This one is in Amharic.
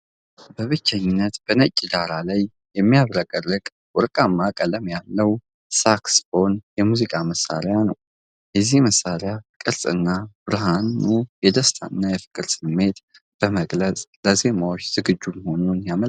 በብቸኝነት በነጭ ዳራ ላይ የሚያብረቀርቅ ወርቃማ ቀለም ያለው ሳክስፎን የሙዚቃ መሣሪያ ነው። የዚህ መሣሪያ ቅርፅና ብርሃኑ የደስታንና የፍቅርን ስሜት በመግለጽ ለዜማዎች ዝግጁ መሆኑን ያመለክታል።